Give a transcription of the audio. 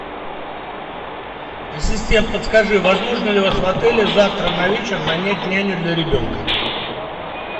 ассистент подскажи возможно ли у вас в отеле завтра на вечер нанять няню для ребенка